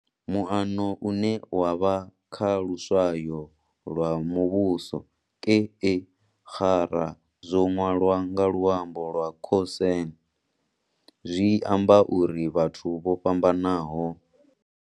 Muano une wavha kha luswayo lwa muvhuso, ke e xarra zwo ṅwalwa nga luambo lwa Khoisan, zwi amba uri vhathu vho fhambanaho.